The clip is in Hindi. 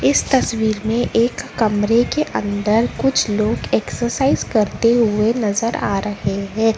इस तस्वीर में एक कमरे के अंदर कुछ लोग एक्सरसाइज करते हुए नजर आ रहे हैं।